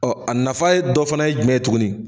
Ɔ a nafa ye dɔ fana ye jumɛn tuguni